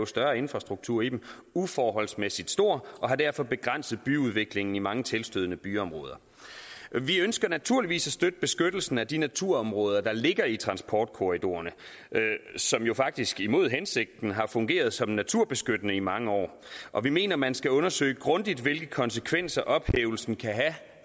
større infrastruktur i den uforholdsmæssigt stor og har derfor begrænset byudviklingen i mange tilstødende byområder vi ønsker naturligvis at støtte beskyttelsen af de naturområder der ligger i transportkorridorerne som jo faktisk imod hensigten har fungeret som naturbeskyttende i mange år og vi mener at man skal undersøge grundigt hvilke konsekvenser ophævelsen kan have